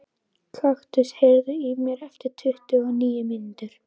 Kaktus, heyrðu í mér eftir tuttugu og níu mínútur.